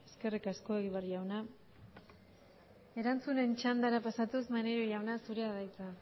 eskerrik asko egibar jauna erantzunen txandara pasatuz maneiro jauna zurea da hitza